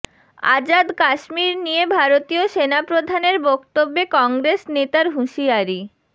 আজাদ কাশ্মীর নিয়ে ভারতীয় সেনাপ্রধানের বক্তব্যে কংগ্রেস নেতার হুশিয়ারি